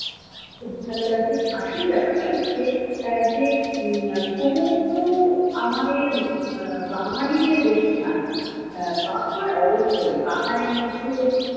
খুব ভালো লাগছে। আসল ব্যাপারটা হচ্ছে আহ যে আহ সমুদ্র আমাদের আহ বাঙালিদের বেশি টানে। আহ পাহাড় অবশ্যই, পাহাড়ের মধ্যে তো,